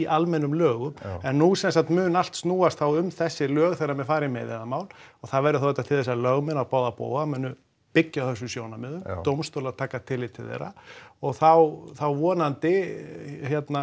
almennum lögum en nú sem sagt mun allt snúast um þessi lög þegar menn fara í meiðyrðamál það verður auðvitað til þess að lögmenn á báða bóga munu byggja á þessum sjónarmiðum dómstólar taka tillit til þeirra og þá þá vonandi